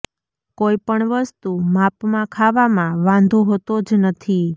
કોઈ પણ વસ્તુ માપમાં ખાવામાં વાંધો હોતો જ નથી